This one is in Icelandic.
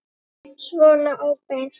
Svona óbeint.